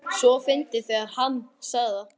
. svo fyndið þegar HANN sagði það!